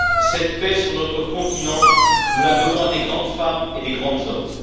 Cette paix sur notre continent, nous la devons à de grandes femmes et de grands hommes.